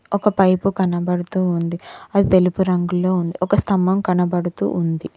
ఒక పైపు కనబడుతూ ఉంది అది తెలుపు రంగులో ఉంది ఒక స్తంభం కనబడుతూ ఉంది.